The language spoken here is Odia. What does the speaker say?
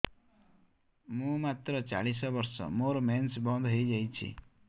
ମୁଁ ମାତ୍ର ଚାଳିଶ ବର୍ଷ ମୋର ମେନ୍ସ ବନ୍ଦ ହେଇଯାଇଛି